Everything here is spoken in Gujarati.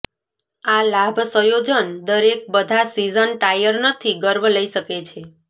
આ લાભ સંયોજન દરેક બધા સીઝન ટાયર નથી ગર્વ લઇ શકે છે